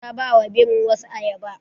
Ta ba wa birin wasu ayaba.